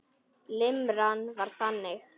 Limran var þannig: